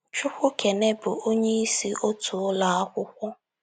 Chukwukaine bụ onyeisi otu ụlọ akwụkwọ.